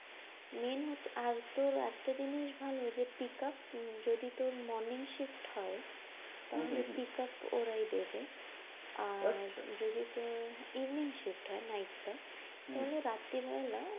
Main হচ্ছে আর তোর, একটা জিনিস ভালো যে pickup যদি তোর morning shift হয় তাহলে pickup ওরাই দেবে। আর যদি তোর evening shift হয় night টা, তাহলে রাত্রী বেলা,